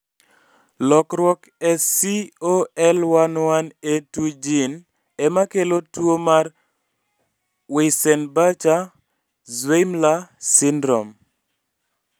lokruok e COL11A2 gene emakelo tuwo mar Weissenbacher-Zweymller syndrome